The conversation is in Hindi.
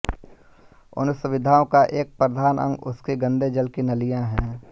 उन सुविधाओं का एक प्रधान अंग उनकी गंदे जल की नालियाँ हैं